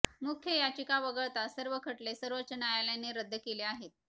मुख्य याचिका वगळता सर्व खटले सर्वोच्च न्यायालयाने रद्द केले आहेत